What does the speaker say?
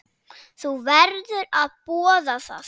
Þú verður að boða það.